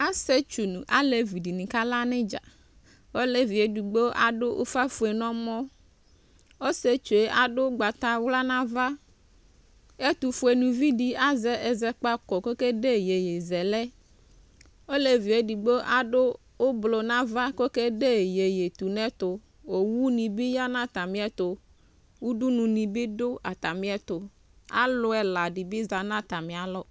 asietsʋ nʋ alevidini akala nʋ idza ɔleviedogbo adʋ ʋƒa nɛmɔ ɔsietsʋe adʋ ʋgbatawla nava ɛtʋƒʋenividi azɛ azɛkpako kʋ okede yeye zɛlɛ elevie edigbo kede yeye tʋnɛtʋ owʋdibi yanʋ atamiɛtʋ ʋdʋnʋdinibi dʋ atamiɛtʋ alʋɛladi bi za nʋ atamialɔ